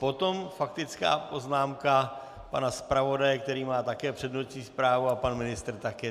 Potom faktická poznámka pana zpravodaje, který má také přednostní právo, a pan ministr také.